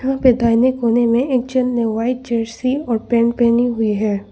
यहां पे दाहिने कोने में एक जेंट ने व्हाइट जर्सी और पैंट पहनी हुई है।